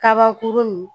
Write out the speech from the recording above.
Kabakurun